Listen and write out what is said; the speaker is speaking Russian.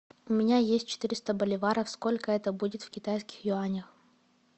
у меня есть четыреста боливаров сколько это будет в китайских юанях